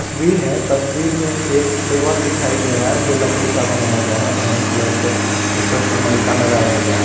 तस्वीर है तस्वीर में एक टेबल दिखाई दे रहा है जो लकड़ी का बनाया गया है ब्राउन कलर से उसपर सनमाइका लगाया गया है।